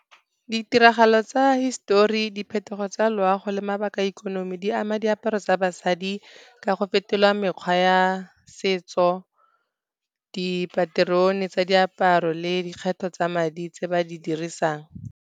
Ditiragalo tsa hisetori, diphetogo tsa loago le mabaka a ikonomi, di ama diaparo tsa basadi ka go fetola mekgwa ya setso, dipaterone tsa diaparo le dikgetho tsa madi tse ba di dirisang.